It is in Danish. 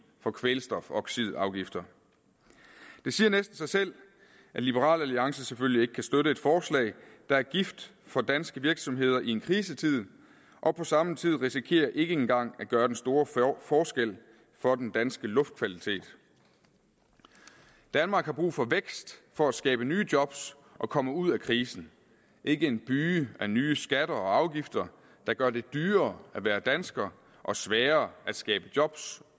for kvælstofoxidafgifter det siger næsten sig selv at liberal alliance selvfølgelig ikke kan støtte et forslag der er gift for danske virksomheder i en krisetid og på samme tid risikerer ikke engang at gøre den store forskel for den danske luftkvalitet danmark har brug for vækst for at skabe nye job og komme ud af krisen ikke en byge af nye skatter og afgifter der gør det dyrere at være dansker og sværere at skabe job